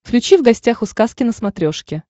включи в гостях у сказки на смотрешке